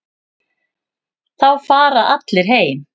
Þá fara allir heim.